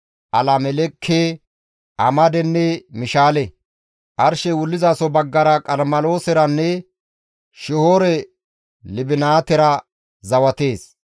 Alameleke, Amadenne Mishaale. Arshey wullizaso baggara Qarmelooseranne Shihoore-Libinaatera zawatees.